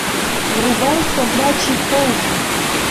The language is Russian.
врубай собачий полдень